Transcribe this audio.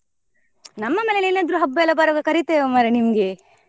ನಮ್ಮ ಮನೇಲಿ ಏನಾದ್ರು ಹಬ್ಬ ಎಲ್ಲ ಬರುವಾಗ ಕರೀತೇವೆ ಮರ್ರೆ ನಿಮ್ಗೆ.